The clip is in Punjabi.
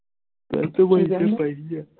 ਦਵਾਈ ਤਾਂ ਮੈਂ ਕਿਹਾ ਪਈ ਹੈ